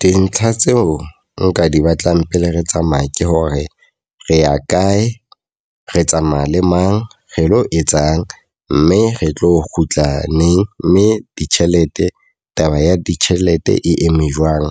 Dintlha tseo nka di batlang pele re tsamaya ke hore re ya kae, re tsamaya le mang, re lo etsang, mme re tlo kgutla neng, mme ditjhelete taba ya ditjhelete e eme jwang.